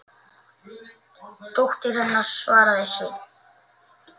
Dóttir hennar, svaraði Sveinn.